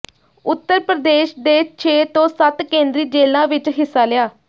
ਉੱਤਰ ਪ੍ਰਦੇਸ਼ ਦੇ ਛੇ ਤੋਂ ਸੱਤ ਕੇਂਦਰੀ ਜੇਲਾਂ ਵਿਚ ਹਿੱਸਾ ਲਿਆ